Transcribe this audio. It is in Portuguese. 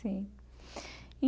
Sim.